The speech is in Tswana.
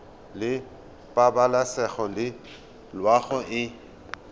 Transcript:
la pabalesego le loago e